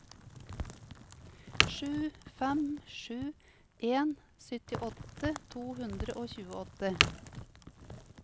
sju fem sju en syttiåtte to hundre og tjueåtte